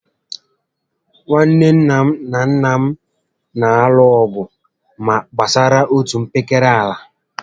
Nwanne nna m na nnà m na alụ ọgụ gbásárá otú mpekere àlà